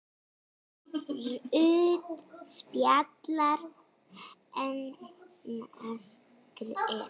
Rautt spjald: Hannes Grimm.